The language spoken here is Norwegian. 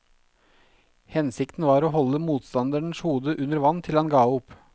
Hensikten var å holde motstanderens hode under vann til han ga opp.